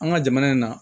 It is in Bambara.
An ka jamana in na